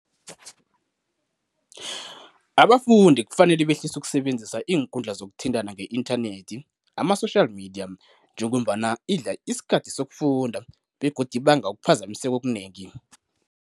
Abafundi kufanele behlise ukusebenzisa iinkundla zokuthintana nge-inthanethi, ama-social media, njengombana idla isikhathi sokufunda begodu ibanga ukuphazamiseka okunengi.